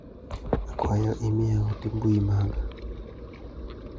Akwayo imiya ote mbui maga.